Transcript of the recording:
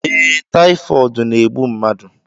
Ee, tayifọọdu na-egbụ mmadụ